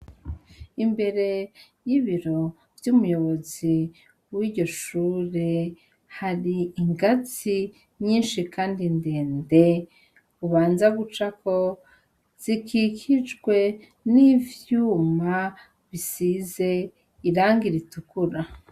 Imbere y’ibiro vy’umuyobozi w’iryo shure, hari ingazi nyishi Kandi ndende ubanza gucako, zikikijwe n’ivyuma bisize irangi ritukura.